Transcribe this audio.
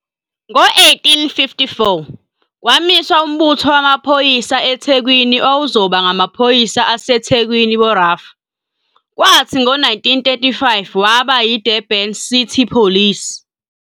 Ngo-1854, kwamiswa umbutho wamaphoyisa eThekwini owawuzoba ngamaphoyisa aseThekwini Borough, kwathi ngo-1935 waba yiDurban City Police, DCP.